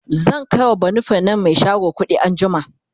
zan kaiwa banufen nan Mai shago kuɗi anjima